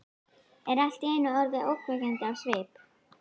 Er allt í einu orðin ógnvekjandi á svip.